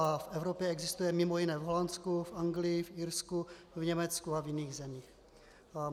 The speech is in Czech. A v Evropě existuje mimo jiné v Holandsku, v Anglii, v Irsku, v Německu a v jiných zemích.